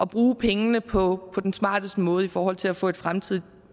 bruge pengene på den smarteste måde i forhold til at få et fremtidigt